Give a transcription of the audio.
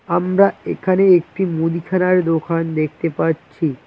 আমরা এখানে একটি মুদিখানার দোকান দেখতে পাচ্ছি।